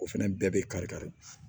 O fɛnɛ bɛɛ bɛ kari kari